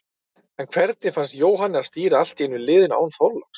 En hvernig fannst Jóhanni að stýra allt í einu liðinu, án Þorláks?